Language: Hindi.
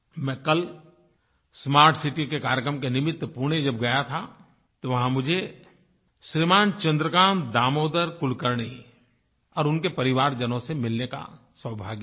मैं कल स्मार्ट सिटी के कार्यक्रम के निमित्त पुणे जब गया था तो वहाँ मुझे श्रीमान चन्द्रकान्त दामोदर कुलकर्णी और उनके परिवारजनों से मिलने का सौभाग्य मिला